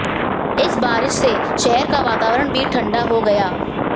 इस बारिश से शहर का वातावरण भी ठंडा हो गया